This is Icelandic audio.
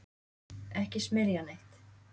Ekki smyrja neitt.